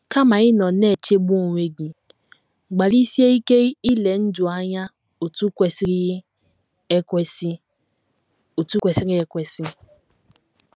Kama ịnọ na - echegbu onwe gị, gbalịsie ike ile ndụ anya otú kwesịrị ekwesị otú kwesịrị ekwesị.